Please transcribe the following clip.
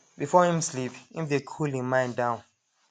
before him sleep him dey cool him mind down